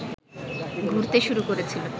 ঘুরতে শুরু করেছিল